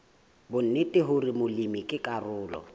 bonnete hore molemi ke karolo